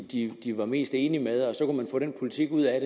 de var mest enige med og så kunne få den politik ud af